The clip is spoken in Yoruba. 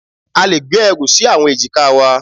A le gbé ẹrù sí àwọn èjìká wa.